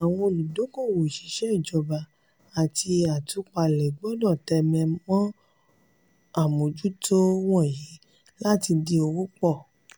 àwọn olùdókòwò òṣìṣẹ́ ìjọba àti atúpalẹ̀ gbọ́dọ̀ tẹ́mẹ́lẹ̀ mọ àmójútó wọ̀nyí láti dín owó pọ̀.